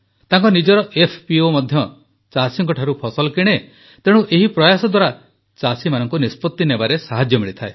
ତାଙ୍କ ନିଜର ଏଫପିଓ ମଧ୍ୟ ଚାଷୀଙ୍କଠାରୁ ଫସଲ କିଣେ ତେଣୁ ଏହି ପ୍ରୟାସ ଦ୍ୱାରା ଚାଷୀମାନଙ୍କୁ ନିଷ୍ପତ୍ତି ନେବାରେ ସାହାଯ୍ୟ ମିଳିଥାଏ